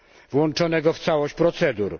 włączonego w całość procedur.